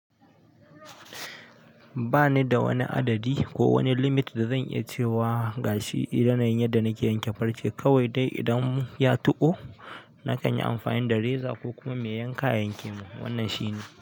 Ba ni da wani adadi ko wani limit da zan iya cewa gashi eh da yanayin yanda nake yanke farce kawai dai idan ya tuƙo nakan yi amfani da reza ko kuma mai yanka yanke mun, wannan shine.